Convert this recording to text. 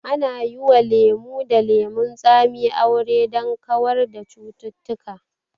Ana yi wa lemo da lemon tsami aure don kawar da cututtuka